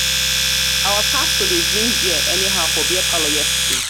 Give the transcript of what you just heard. our pastor dey drink bear anyhow for beer parlor yesterday.